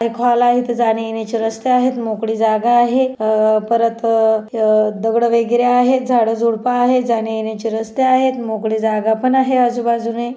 एक हॉल आहे इथे जाण्यायेण्याची रस्ता आहेत मोकळी जागा आहे अ परत अ दगड वगैरे आहेत झाड झुड्प आहेत जाण्यायेण्याची रस्ते आहेत मोकळी जागा पण आहे आजुबाजुने.